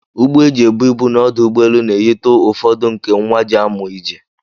Ụgbọ eji ebụ ịbụ n'ọdụ ụgbọelụ na-eyitụ ụfọdụ nke nwa jịị amu ije